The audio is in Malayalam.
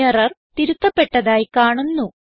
എറർ തിരുത്തപ്പെട്ടതായി കാണുന്നു